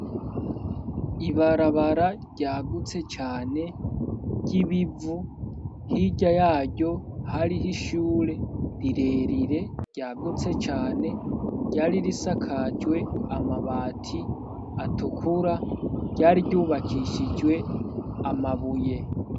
Ibarabara ryagutse cane ry'ibivu, hirya yaryo hariho ishure rirerire ryagutse cane ryari risakajwe amabati atukura ,ryari ryubakishijwe amabuye.